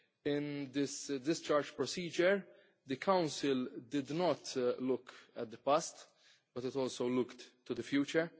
In this discharge procedure, the Council did not only look at the past, but it also looked to the future.